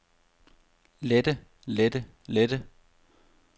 lette lette lette